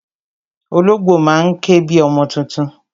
Ológbò má ń ké bi ọmọ tuntun